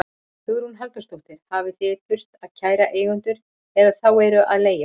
Hugrún Halldórsdóttir: Hafið þið þurft að kæra eigendur eða þá sem eru að leigja út?